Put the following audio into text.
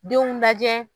Denw lajɛ